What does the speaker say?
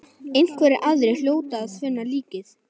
Einhverjir aðrir hljóta að finna líkið.